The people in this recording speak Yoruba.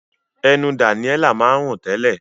Ẹnu Daniella máa ń rùn tẹ́lẹ̀.